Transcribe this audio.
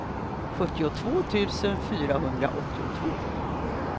sjuttiotvå tusen fyrahundraåttiotvå